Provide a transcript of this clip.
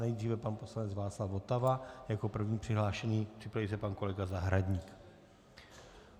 Nejdříve pan poslanec Václav Votava jako první přihlášený, připraví se pan kolega Zahradník.